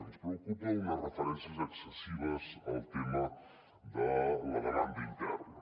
ens preocupa unes referències excessives al tema de la demanda interna